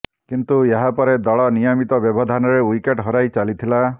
କିନ୍ତୁ ଏହା ପରେ ଦଳ ନିୟମିତ ବ୍ୟବଧାନରେ ୱିକେଟ୍ ହରାର ଚାଲିଥିଲା